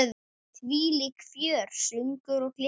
Þvílíkt fjör, söngur og gleði.